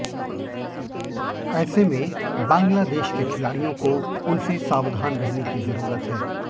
ऐसे मे बांग्लादेश के खिलाड़ियों को उनसे सावधान रहने की ज़रूरत है